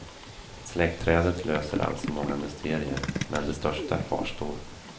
Släktträdet löser alltså många mysterier, men det största kvarstår.